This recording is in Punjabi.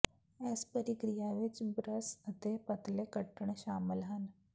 ਇਸ ਪ੍ਰਕ੍ਰਿਆ ਵਿਚ ਬ੍ਰਸ਼ ਅਤੇ ਪਤਲੇ ਕੱਟਣ ਸ਼ਾਮਲ ਹਨ